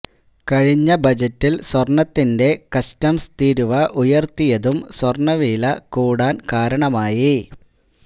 കഴിഞ്ഞ ബജറ്റില് സ്വര്ണത്തിന്റെ കസ്റ്റംസ് തീരുവ ഉയര്ത്തിയതും സ്വര്ണവില കൂടാന് കാരണമായി